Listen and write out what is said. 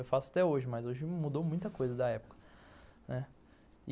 Eu faço até hoje, mas hoje mudou muita coisa da época, né.